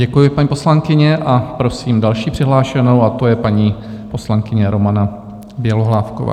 Děkuji, paní poslankyně, a prosím další přihlášenou a tou je paní poslankyně Romana Bělohlávková.